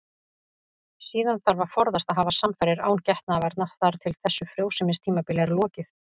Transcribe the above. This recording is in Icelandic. Síðan þarf að forðast að hafa samfarir án getnaðarvarna þar til þessu frjósemistímabili er lokið.